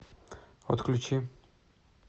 отключи